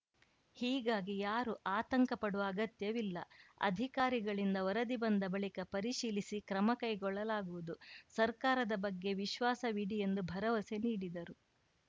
ಹೀಗಾಗಿ ಯಾರೂ ಆತಂಕ ಪಡುವ ಅಗತ್ಯವಿಲ್ಲ ಅಧಿಕಾರಿಗಳಿಂದ ವರದಿ ಬಂದ ಬಳಿಕ ಪರಿಶೀಲಿಸಿ ಕ್ರಮ ಕೈಗೊಳ್ಳಲಾಗುವುದು ಸರ್ಕಾರದ ಬಗ್ಗೆ ವಿಶ್ವಾಸವಿಡಿ ಎಂದು ಭರವಸೆ ನೀಡಿದರು